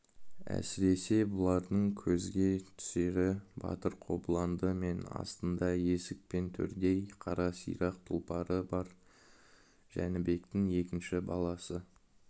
әсіресе бұлардың көзге түсері батыр қобыланды мен астында есік пен төрдей қара сирақ тұлпары бар жәнібектің екінші баласы